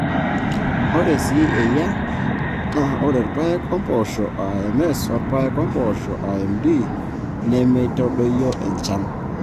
Ore sii eyia naa ore irpaek ompoosho aa MS orpaek ompoosho aa MD nemeitadoyio enchan kake keilepunyie endaa oleng.